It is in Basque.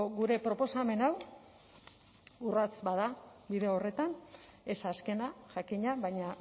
gure proposamen hau urrats bat da bide horretan ez azkena jakina baina